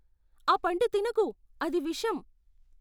ఆ పండు తినకు. అది విషం.